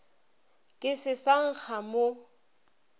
ke se sa nkga mo